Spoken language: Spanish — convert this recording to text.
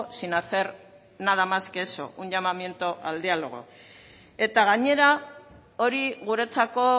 sin hacer nada más que eso un llamamiento al diálogo eta gainera hori guretzako